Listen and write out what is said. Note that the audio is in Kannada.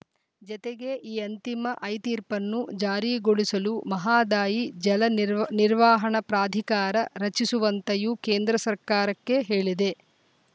ಜತೆಗೆ ಈ ಅಂತಿಮ ಐ ತೀರ್ಪನ್ನು ಜಾರಿಗೊಳಿಸಲು ಮಹದಾಯಿ ಜಲ ನೀರ್ ನಿರ್ವಹಣಾ ಪ್ರಾಧಿಕಾರ ರಚಿಸುವಂತೆಯೂ ಕೇಂದ್ರ ಸರ್ಕಾರಕ್ಕೆ ಹೇಳಿದೆ